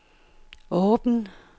åben